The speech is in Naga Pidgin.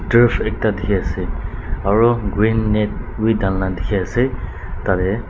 turf ekta dikhiase aro green net bi dhalina dikhina ase tatae.